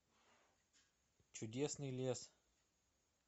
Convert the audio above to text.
чудесный лес